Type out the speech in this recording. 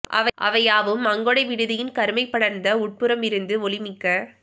அவை யாவும் அங்கொடை விடுதியின் கருமை படர்ந்த உட்புறமிருந்து ஒளி மிக்க